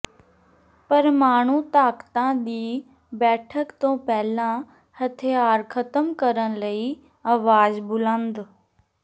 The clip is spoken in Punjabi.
ਪਰਮਾਣੂ ਤਾਕਤਾਂ ਦੀ ਬੈਠਕ ਤੋਂ ਪਹਿਲਾਂ ਹਥਿਆਰ ਖ਼ਤਮ ਕਰਨ ਲਈ ਆਵਾਜ਼ ਬੁਲੰਦ